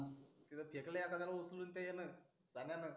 तिथे फेकले आता त्याला उचलून ते यान